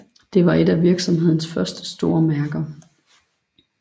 Det var et af virksomhedens første store mærker